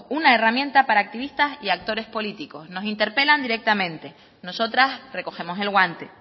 una herramienta para activistas y actores políticos nos interpelan directamente nosotras recogemos el guante